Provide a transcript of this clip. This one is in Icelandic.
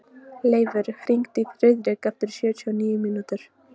Leifur, hringdu í Friðrik eftir sjötíu og níu mínútur.